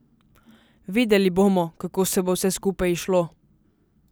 Videli bomo, kako se bo vse skupaj izšlo.